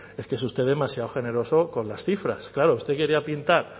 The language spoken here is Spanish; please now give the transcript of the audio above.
es que es usted demasiado generoso con las cifras claro usted quería pintar